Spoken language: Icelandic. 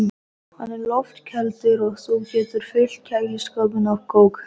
Hann er loftkældur og þú getur fyllt kæliskápinn af kók.